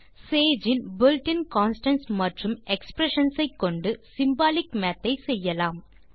Sage ன் built இன் constants மற்றும் எக்ஸ்பிரஷன்ஸ் ஐ கொண்டு சிம்பாலிக் மாத் ஐ செய்யலாம்